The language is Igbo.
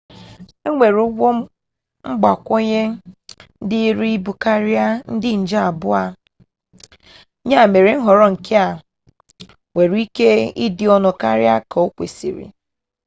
enwere ụgwọ mgbakwunye dịịrị ibukarị ndị nje abụọ ya mere nhọrọ nke a nwere ike ịdị ọnụ karịa ka okwesiri